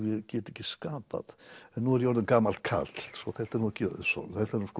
get ekki skapað en nú er ég orðinn gamall karl þannig þetta er ekki auðsótt